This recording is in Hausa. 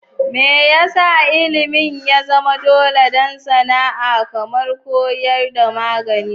Me yasa Ilimin ya zama dole don sana'a kamar koyarwa da magani?